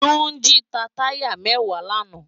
Tunji tá tàyá mèwá làná